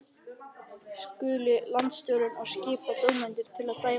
Skuli landsstjórnin og skipa dómendur til að dæma uppdrættina.